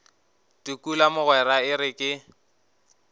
tukula mogwera e re ke